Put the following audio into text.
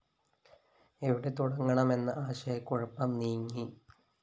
എവിടെ തുടങ്ങണമെന്ന ആശയക്കുഴപ്പം നീങ്ങി